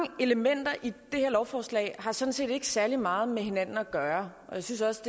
elementer i det her lovforslag har sådan set ikke særlig meget med hinanden at gøre og jeg synes også